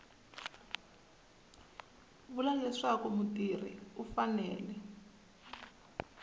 vula leswaku mutirhi u fanele